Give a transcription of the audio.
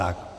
Tak.